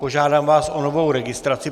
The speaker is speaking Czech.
Požádám vás o novou registraci.